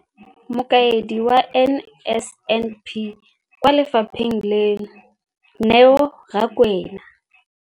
Mokaedi wa NSNP kwa lefapheng leno, Neo Rakwena,